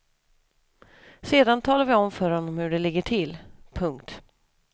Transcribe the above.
Sedan talar vi om för honom hur det ligger till. punkt